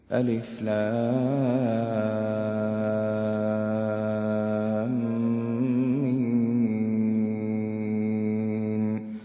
الم